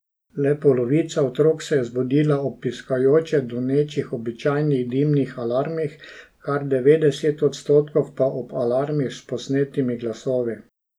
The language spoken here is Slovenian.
Le polovica otrok se je zbudila ob piskajoče donečih običajnih dimnih alarmih, kar devetdeset odsotkov pa ob alarmih s posnetimi glasovi.